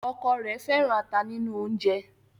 ọkọ rẹ fẹràn ata nínú oúnjẹ.